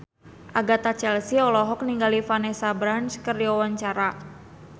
Agatha Chelsea olohok ningali Vanessa Branch keur diwawancara